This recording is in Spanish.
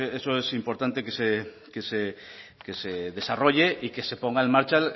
eso es importante que se desarrolle y que se ponga en marcha